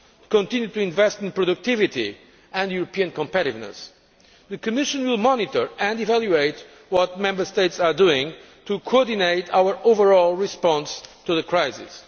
to continue to invest in productivity and European competitiveness. The Commission will monitor and evaluate what Member States are doing to coordinate our overall response to the crisis.